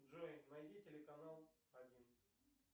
джой найди телеканал один